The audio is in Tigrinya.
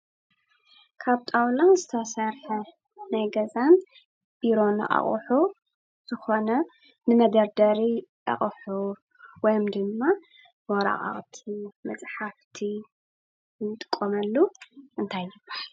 ካብ ጣውላ ዝተሰርሐ ናይ ገዛን ቢሮን አቑሑ ዝኮነ ንመደርደሪ ኣቑሑ ወይም ድማ ወረቃቅቲ፣ መፅሓፍቲ ንጥቀመሉ እንታይ ይበሃል?